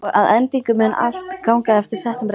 Og að endingu mun allt ganga eftir settum reglum.